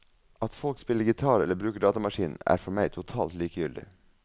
At folk spiller gitar eller bruker datamaskin, er for meg totalt likegyldig.